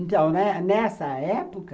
Então, nessa época,